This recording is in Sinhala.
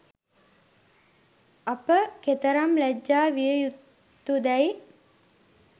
අප කෙතරම් ලැජ්ජා විය යුතුදැයි